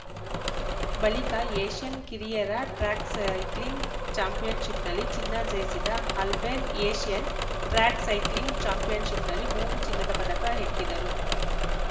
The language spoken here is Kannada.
ಬಳಿಕ ಏಷ್ಯನ್‌ ಕಿರಿಯರ ಟ್ರ್ಯಾಕ್‌ ಸೈಕ್ಲಿಂಗ್‌ ಚಾಂಪಿಯನ್‌ಶಿಪ್‌ನಲ್ಲಿ ಚಿನ್ನ ಜಯಿಸಿದ್ದ ಆಲ್ಬೆನ್‌ ಏಷ್ಯನ್‌ ಟ್ರ್ಯಾಕ್‌ ಸೈಕ್ಲಿಂಗ್‌ ಚಾಂಪಿಯನ್‌ಶಿಪ್‌ನಲ್ಲಿ ಮೂರು ಚಿನ್ನದ ಪದಕ ಹೆಕ್ಕಿದ್ದರು